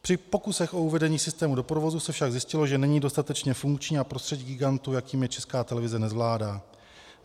Při pokusech o uvedení systému do provozu se však zjistilo, že není dostatečně funkční a prostředí gigantu, jakým je Česká televize, nezvládá.